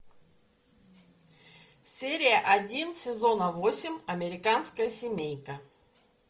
серия один сезона восемь американская семейка